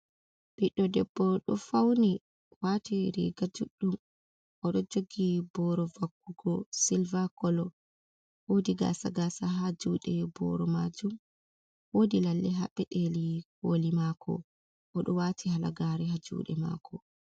Ɓiɗɗo debbo ɗo fauni wati riga juɗɗum, oɗo jogi boro vakkugo silva kolo, wodi gasa gasa ha juɗe boro majum, wodi lalle ha peɗeli koli mako, oɗo wati halagare ha juɗe mako.